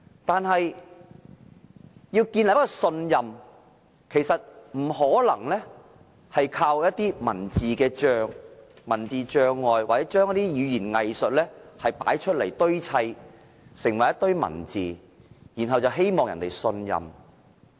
但是，要建立信任，其實不可能只倚靠以一些文字組成障礙，又或是利用語言"偽術"堆砌出一些文字，然後希望別人信任。